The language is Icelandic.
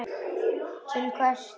Til hvers þá?